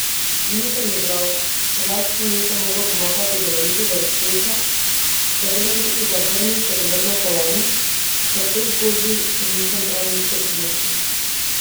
Nisem igral, Hrvaški nisem mogel pomagati do velikega uspeha, zato sem tudi zavrnil srebrno kolajno, saj k tej zgodbi nisem prav nič doprinesel.